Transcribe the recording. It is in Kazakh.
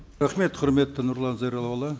рахмет құрметті нұрлан зайроллаұлы